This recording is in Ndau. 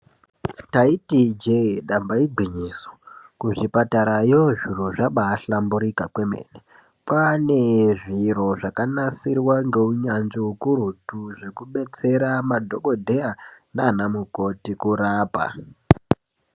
Taiti ijee damba igwinyiso kuzvipatarayo zviro zvabahlamburika kwemene. Kwaane zviro zvakanasirwa ngeunyanzvi ukurutu zvekubetsera madhokodheya nanamukoti kurapa.